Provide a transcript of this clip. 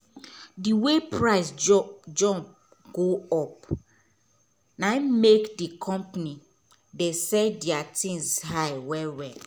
d way price jump go up na make d company dey sell deir tins high well well